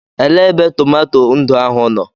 Elee ebe tomato ndụ ahụ nọ?